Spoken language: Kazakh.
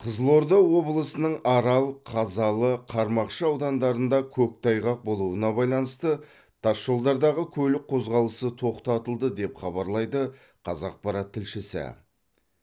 қызылорда облысының арал қазалы қармақшы аудандарында көктайғақ болуына байланысты тасжолдардағы көлік қозғалысы тоқтатылды деп хабарлайды қазақпарат тілшісі